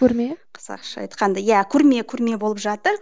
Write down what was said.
көрме қазақша айтқанда иә көрме көрме болып жатыр